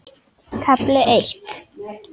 KAFLI EITT